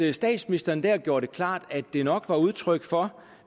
at statsministeren dér gjorde det klart at det nok var udtryk for